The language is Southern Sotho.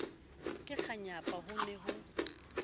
ka kganyapa ho ne ho